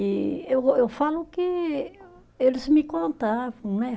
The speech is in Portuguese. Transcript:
E eu eu falo que eles me contavam, né?